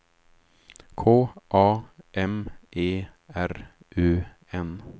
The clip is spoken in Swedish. K A M E R U N